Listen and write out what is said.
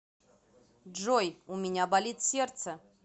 джой у меня болит сердце